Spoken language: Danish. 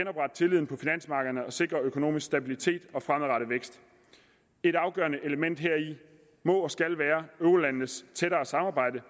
sikre økonomisk stabilitet og fremadrettet vækst et afgørende element heri må og skal være eurolandenes tættere samarbejde